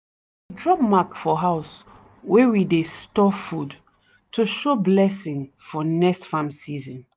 we dey draw mark for house wey we dey store food to show blessing for next farm season.